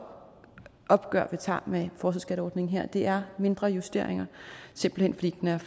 opgør vi tager med forskerskatteordningen her det er mindre justeringer simpelt hen fordi den